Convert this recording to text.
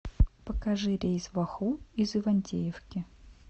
покажи рейс в оху из ивантеевки